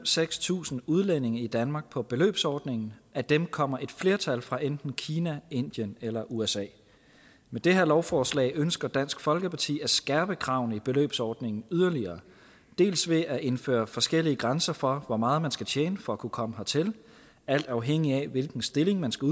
seks tusind udlændinge i danmark på beløbsordningen af dem kommer et flertal fra enten kina indien eller usa med det her lovforslag ønsker dansk folkeparti at skærpe kravene i beløbsordningen yderligere dels ved at indføre forskellige grænser for hvor meget man skal tjene for at kunne komme hertil alt afhængig af hvilken stilling man skal